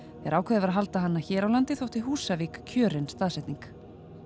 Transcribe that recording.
þegar ákveðið var að halda hana hér á landi þótti Húsavík kjörin staðsetning